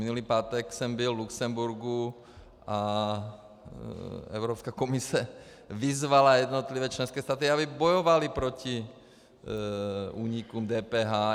Minulý pátek jsem byl v Lucemburku a Evropská komise vyzvala jednotlivé členské státy, aby bojovaly proti únikům DPH.